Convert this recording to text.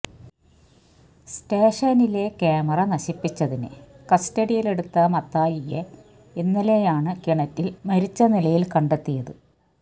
സ്റ്റേഷനിലെ ക്യാമറ നശിപ്പിച്ചതിന് കസ്റ്റഡിയിലെടുത്ത മത്തായിയെ ഇന്നലെയാണ് കിണറ്റില് മരിച്ച നിലയില് കണ്ടെത്തിയത്